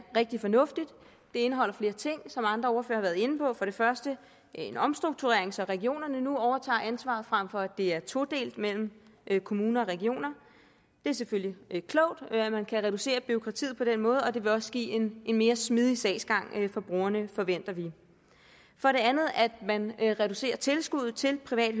rigtig fornuftigt det indeholder flere ting som andre ordførere været inde på for det første en omstrukturering så regionerne nu overtager ansvaret frem for at det er todelt mellem kommuner og regioner det er selvfølgelig klogt at man kan reducere bureaukratiet på den måde og det vil også give en mere smidig sagsgang for brugerne forventer vi for det andet at man reducerer tilskud til privat